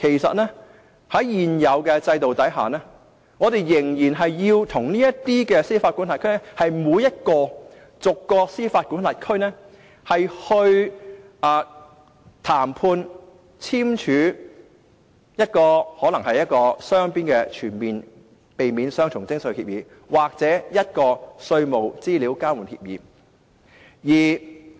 在現有制度下，我們仍然要與這些司法管轄區逐一談判，並簽署雙邊的全面性避免雙重徵稅協定或稅務資料交換協議。